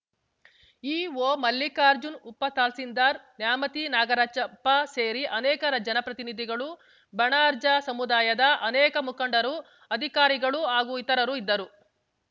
EO Mallikarjun ಉಪತಹಸೀಲ್ದಾರ್‌ ನ್ಯಾಮತಿ ನಾಗರಾಜಪ್ಪ ಸೇರಿ ಅನೇಕ ಜನಪ್ರತಿನಿಧಿಗಳು ಬಣರ್ಜಾ ಸಮುದಾಯದ ಅನೇಕ ಮುಖಂಡರು ಅಧಿಕಾರಿಗಳು ಹಾಗೂ ಇತರರು ಇದ್ದರು